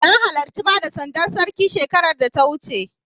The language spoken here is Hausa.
Na halarci bada sandar Sarki shekarar da ta wuce.